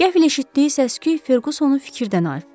Qəfil eşitdiyi səs-küy Ferqusonu fikirdən ayırtdı.